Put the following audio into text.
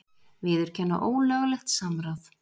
Viðurkenna ólöglegt samráð